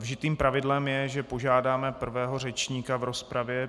Vžitým pravidlem je, že požádáme prvého řečníka v rozpravě.